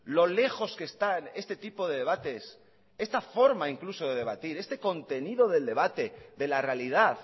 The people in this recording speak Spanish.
lo lejos que están este tipo de debates esta forma incluso de debatir este contenido del debate de la realidad